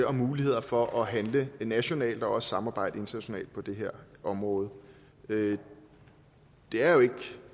og mulighed for at handle nationalt og også at samarbejde internationalt på det her område det det er jo